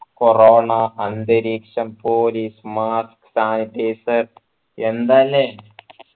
corona അന്തരീക്ഷം police mask sanitizer എന്താ അല്ലെ